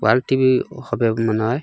ওয়াল TV হবে মনে হয়।